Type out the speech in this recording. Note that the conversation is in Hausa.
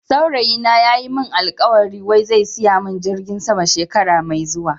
Saurayi na ya Yi min alkawali wai zai siya min jirgin sama shekara Mai zuwan.